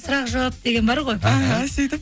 сұрақ жауап деген бар ғой іхі сөйтіп